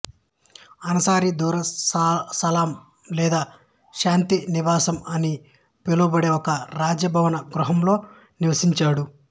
అన్సారీ దరుస్ సలాం లేదా శాంతి నివాసం అని పిలువబడే ఒక రాజభవన గృహంలో నివసించాడు